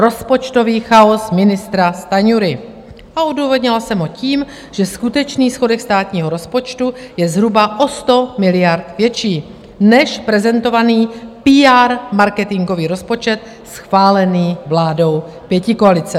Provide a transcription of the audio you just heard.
Rozpočtový chaos ministra Stanjury a odůvodnila jsem ho tím, že skutečný schodek státního rozpočtu je zhruba o 100 miliard větší než prezentovaný PR marketingový rozpočet, schválený vládou pětikoalice.